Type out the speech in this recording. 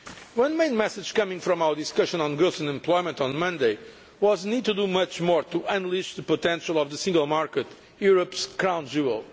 One main message coming out of our discussion on growth and employment on Monday was the need to do much more to unleash the potential of the single market, Europe's crown jewel'.